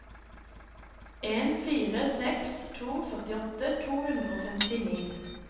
en fire seks to førtiåtte to hundre og femtini